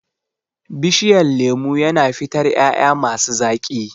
Bishiyan lemu yana fitar ƴaƴa masi zaƙi.